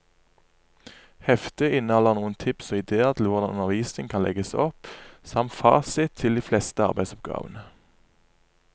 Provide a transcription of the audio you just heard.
Heftet inneholder noen tips og idéer til hvordan undervisningen kan legges opp, samt fasit til de fleste arbeidsoppgavene.